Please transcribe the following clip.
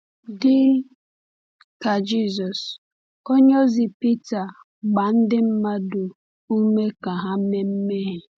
Dị ka Jisọs, onyeozi Pita gbaa ndị mmadụ ume ka ha mee mmehie.